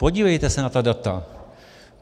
Podívejte se na ta data.